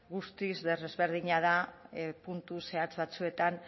guztiz desberdina da puntu zehatz batzuetan